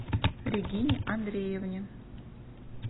регине андреевне